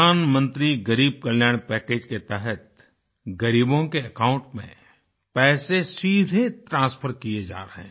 प्रधानमंत्री ग़रीब कल्याण पैकेज़ के तहत ग़रीबों के अकाउंट में पैसे सीधे ट्रांसफर किए जा रहे हैं